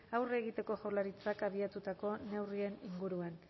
aurre egiteko jaurlaritzak abiatutako neurrien inguruan